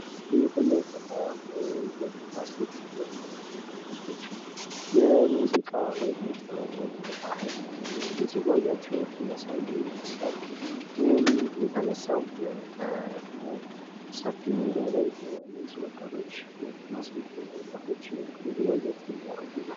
በምስሉ ላይ የምናየው ወንድና ሴት ወጣቶች የሙዚቃ ወይም የጥበብ ወይም የባህል ውዝዋዜያቸውን እያሳዩ ይህም የተነሳው በሰፊ ሜዳ ላይ እነዚህ ወጣቶች ሴትና ወንድ ወጣቶች ውዝዋዜ እያረጉ ነው።